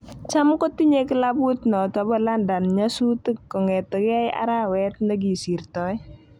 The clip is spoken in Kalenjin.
Cham kotinye klabuit noto bo london nyasutik kong'etegei arawet ne kosirtoi